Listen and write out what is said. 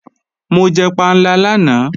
Mo jẹ panla lánàá